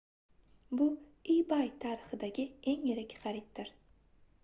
bu ebay tarixidagi eng yirik xariddir